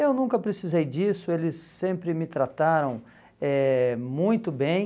Eu nunca precisei disso, eles sempre me trataram eh muito bem.